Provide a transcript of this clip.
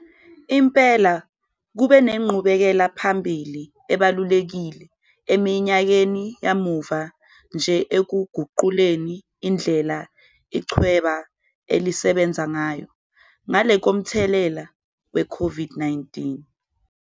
Ngempela kukhona inqubekelaphambili ebonakalayo eseyenzekile eminyakeni eyedlule ukuguqula indlela yokusebenza echwebeni, ngale komthelela weCOVID-19.